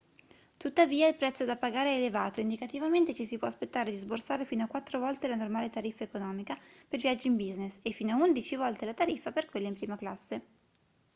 tuttavia il prezzo da pagare è elevato indicativamente ci si può aspettare di sborsare fino a quattro volte la normale tariffa economica per viaggi in business e fino a undici volte la tariffa per quelli in prima classe